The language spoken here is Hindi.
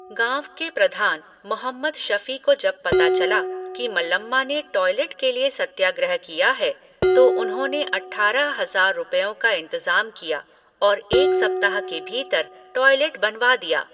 गाँव के प्रधान, मोहम्मद शफ़ी को जब पता चला कि मल्लम्मा ने टॉएलेट के लिए सत्याग्रह किया है, तो उन्होंने अठारह हज़ार रुपयों का इंतज़ाम किया और एक सप्ताह के भीतर टॉएलेट बनवा दिया।